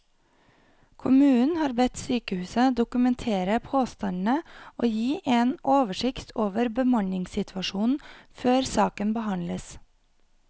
Kommunen har bedt sykehuset dokumentere påstandene og gi en oversikt over bemanningssituasjonen før saken behandles.